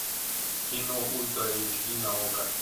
кино ультра эйч ди на окко